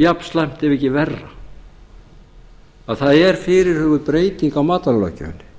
jafnslæmt ef ekki verra er að það er fyrirhuguð breyting á matvælalöggjöfinni